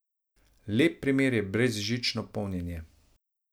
Lep primer je brezžično polnjenje.